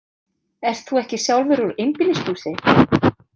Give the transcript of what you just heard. Ert þú ekki sjálfur úr einbýlishúsi?